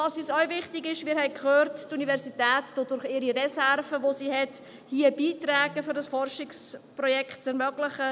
Wichtig ist und auch Folgendes: Wir haben gehört, dass die Universität mit ihren Reserven dazu beiträgt, dieses Forschungsprojekt zu ermöglichen.